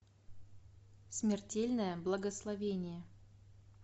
смертельное благословение